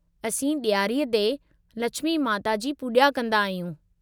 असीं ॾियारीअ ते लछिमी माता जी पूॼा कंदा आहियूं।